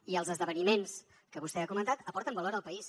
i els esdeveniments que vostè ha comentat aporten valor al país